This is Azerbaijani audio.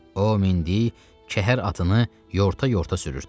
O mindi, kəhər atını yorta-yorta sürürdü.